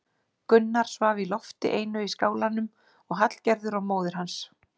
Gunnar svaf í lofti einu í skálanum og Hallgerður og móðir hans.